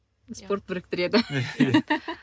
спорт біріктіреді